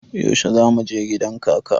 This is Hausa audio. Yaushe za mu je gidan kaka?